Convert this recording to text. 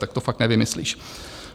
Tak to fakt nevymyslíš.